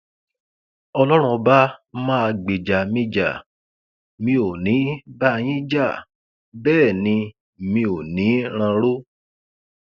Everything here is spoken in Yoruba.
ọlọrun ọba máa gbèjà mi já mi ò ní í bá yín jà bẹẹ ni mi ò ní í ránró